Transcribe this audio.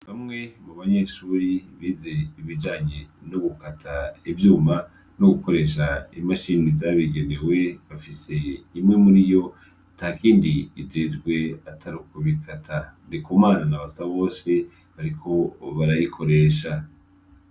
Bamwe mu banyeshuri bize ibijanye no gukata ivyuma no gukoresha imashini zabigenewe bafise imwe muriyo atakindi ijejwe atarukubikata. Ndikumana na Basabose bariko barayikoresha.